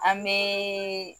An bɛɛɛɛ